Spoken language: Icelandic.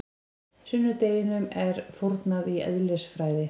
Sunnudeginum er fórnað í eðlisfræði.